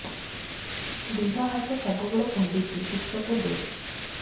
ଦିହ ହାତ ସବୁବେଳେ କୁଣ୍ଡୁଚି ଉଷ୍ଧ ଦେ